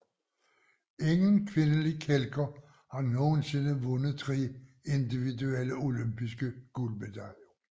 Ingen kvindelig kælker har nogensinde vundet tre individuelle olympiske guldmedaljer